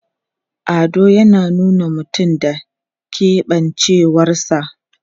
Ado yana nuna mutum da keɓancewarsa.